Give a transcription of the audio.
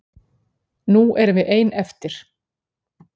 Nú erum við ein eftir.